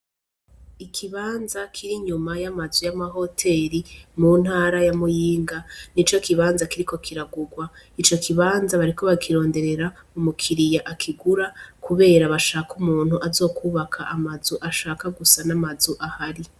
Ikibanza kiri nyuma y'amazu y'amahoteri mu ntara yamuyinga ni co kibanza kiriko kiragurwa ico kibanza bariko bakironderera umukiriya akigura, kubera bashaka umuntu azokwubaka amazu ashaka gusa n'amazu ahari.